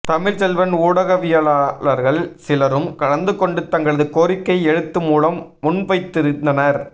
தமிழ்ச்செல்வன் ஊடகவியலாளர்கள் சிலரும் கலந்துகொண்டு தங்களது கோரிக்யை எழுத்து மூலம் முன்வைத்திருதனர்